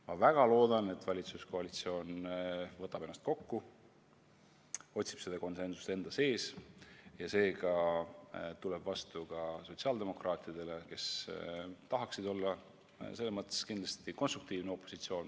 Ma väga loodan, et valitsuskoalitsioon võtab ennast kokku ja leiab selle konsensuse enda seest ja tuleb sellega vastu ka sotsiaaldemokraatidele, kes tahaksid selle teema puhul kindlasti olla konstruktiivne opositsioon.